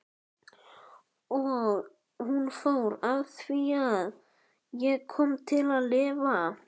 Og hún fór afþvíað ég kom til að lifa.